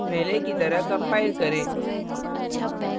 पहले की तरह compile करें